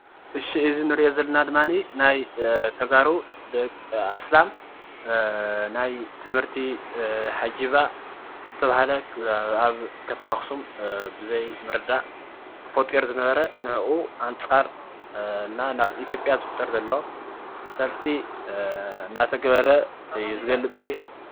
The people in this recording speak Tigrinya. እሺ እዚ ስእሊ እንርእዮ ዘለና ድማኒ ናይ ተጋሩ ኣስላም ናይ ትምህርቲ ሃጅባ ተብሃለ ኣብ ከተማ ኣክሱም ብዘይምርዳእ ተፈጢሩ ዝነበረ ንዑኡ ኣንፃር ና ናብ ኢትዮጵያ ዝፍጠር ዘሎ ሰልፊ እናተገበረ እዩ ዝገልፅ እዚ::